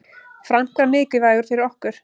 Frank var mikilvægur fyrir okkur.